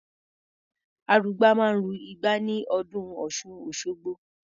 Arugbá máa ń ru igbá ní ọdún Ọ̀ṣun-Òṣogbo.